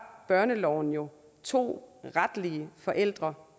børneloven jo to retlige forældre